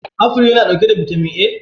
afuls suna dauke da bitamin A?